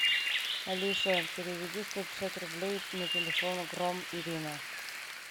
алиса переведи сто пятьдесят рублей на телефон гром ирина